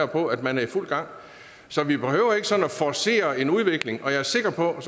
på at man er i fuld gang så vi behøver ikke sådan at forcere en udvikling og jeg er sikker på at